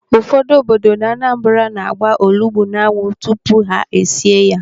Ụfọdụ obodo n'Anambra na-agba olugbu n'anwụ tupu ha esie ya.